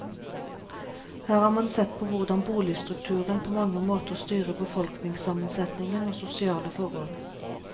Her har man sett på hvordan boligstrukturen på mange måter styrer befolkningssammensetningen og sosiale forhold.